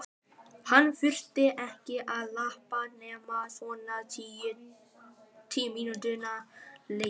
Hann þurfti ekki að labba nema svona tíu mínútna leið.